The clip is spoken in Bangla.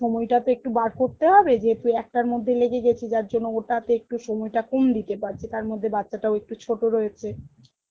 সময়টা তো একটু বার করতে হবে যেহেতু একটার মধ্যে লেগে গেছি যার জন্য ওটাতে একটু সময়টা কম দিতে পারছি তার মধ্যে বাচ্চাটাও একটু ছোট রয়েছে